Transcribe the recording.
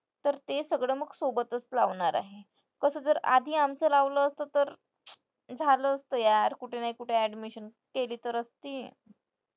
तर ते सगळं मग सोबतच लावणार आहे. तसं जर आधी आमचं लावलं असतं तर झालं असतं यार. कुठे नाही कुठे admission केली तर असती.